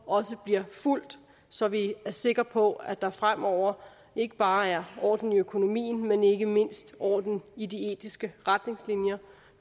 også bliver fulgt så vi er sikre på at der fremover ikke bare er orden i økonomien men ikke mindst orden i de etiske retningslinjer